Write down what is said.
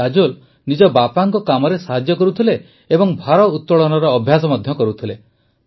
କାଜୋଲ ନିଜ ବାପାଙ୍କ କାମରେ ସାହାଯ୍ୟ କରୁଥିଲେ ଓ ଭାରୋତଳନର ଅଭ୍ୟାସ ମଧ୍ୟ କରୁଥିଲେ